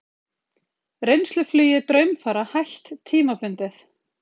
Reynsluflugi Draumfara hætt tímabundið